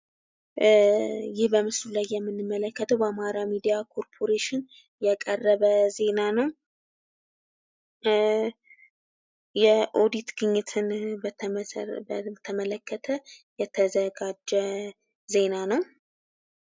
ይህ በምስሉ ላይ የምንመለከተው በአማራ ሚዲያ ኮፕሬሽን የቀረበ ዜና ነው። የኦዲት የግኝትን በተመለከተ የተዘጋጀ ዜና ነው።